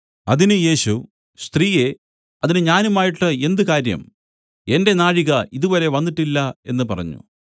അതിന് യേശു സ്ത്രീയേ അതിന് ഞാനുമായിട്ട് എന്ത് കാര്യം എന്റെ നാഴിക ഇതുവരെ വന്നിട്ടില്ല എന്നു പറഞ്ഞു